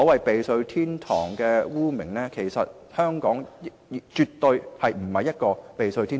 避稅天堂是一個污名，香港絕對不是避稅天堂。